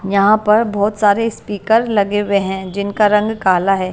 यहां पर बहोत सारे स्पीकर लगे हुए है जिनका रंग काला है।